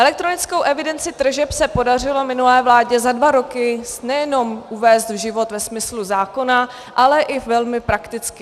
Elektronickou evidenci tržeb se podařilo minulé vládě za dva roky nejenom uvést v život ve smyslu zákona, ale i velmi prakticky.